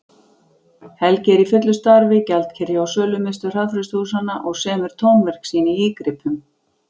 Helgi er í fullu starfi, gjaldkeri hjá Sölumiðstöð hraðfrystihúsanna, og semur tónverk sín í ígripum.